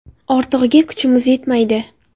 Ortig‘iga kuchimiz yetmaydi.